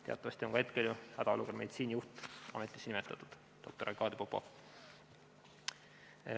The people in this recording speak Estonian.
Teatavasti on hetkel hädaolukorra meditsiinijuht ametisse nimetatud, see on doktor Arkadi Popov.